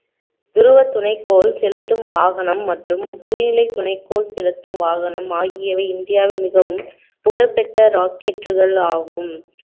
துருவ துணைக்கோள் செலுத்தும் வாகனம் மற்றும் புகையிலை துணைக்கோள் செலுத்தும் வாகனம் ஆகியவை இந்தியாவில் மிகவும் புகழ்பெற்ற rocket கள் ஆகும்